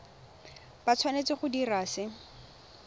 ba tshwanetse go dira se